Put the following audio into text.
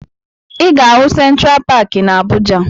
Ị ga-ahụ Sentra Paakị na Abuja